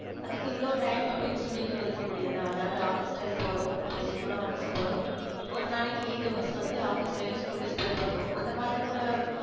அதுக்கு இவ்வளவு time அப்படின்னு சொல்லிட்டு ஒதுக்க முடியாதா? அதாவது office time போறோம் அப்போ school ம் office போறோம். ஒரு நாளைக்கு eight hours வந்து office யோ school ல யோ spend பண்றோம் அந்த மாதிரி கூட